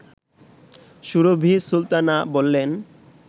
সুরভী সুলতানা বললেন